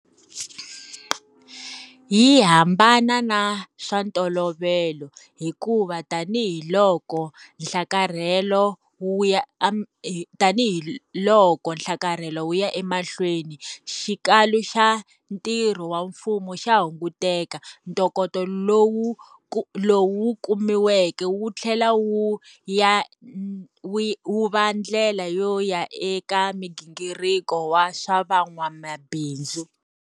Yi hambana na swa ntolovelo, hikuva tanihiloko nhlakarhelo wu ya emahlweni, xikalu xa ntirho wa mfumo xa hunguteka. Ntokoto lowu kumiweke wu tlhela wu va ndlela yo ya eka minghingiriko wa swa vun'wamabindzu.